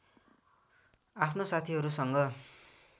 आफ्ना साथीहरूसँग